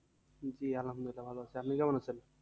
জি আলহামদুলিল্লাহ ভালো আছি আপনি কেমন আছেন?